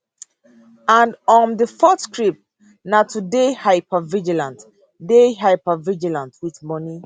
and um di fourth script na to dey hypervigilant dey hypervigilant wit money